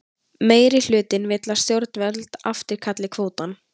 Meirihlutinn vill að stjórnvöld afturkalli kvótann